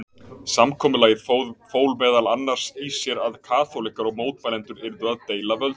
Samkomulagið fól meðal annars í sér að kaþólikkar og mótmælendur yrðu að deila völdum.